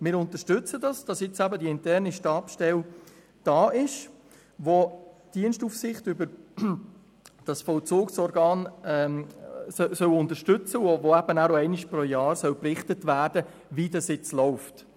Wir unterstützen es, dass es nun eine interne Stabsstelle gibt, die die Dienstaufsicht über das Vollzugsorgan unterstützen und einmal pro Jahr berichten soll, wie es läuft.